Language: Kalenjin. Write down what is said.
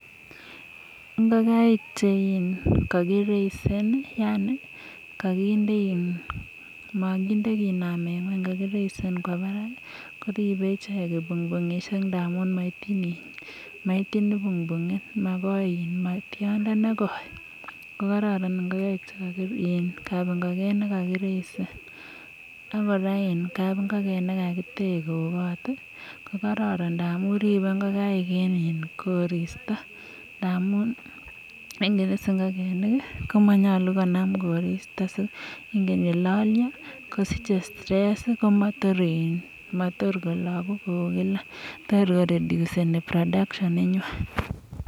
Ingokaik che kagireisen yan koginde, moginde kinamen ng'weny kogireisen kwo barak koribe ichek kipungpung'ishek ngamun moityin kipungpung'it, magoi, ma tiondo ne koi. Ko kororon ngakaik chemi kapingoken ne kogireisen ak kora kapingoken ne kagitech kou kot ko kororon ndamun ribe ngokaik en koristo ndamun ingen iss ingokenik komonyolu konam koristo, ingen ye lolyo kosiche stress komotor kologu kou kila, tor ko reduce ni production inywan.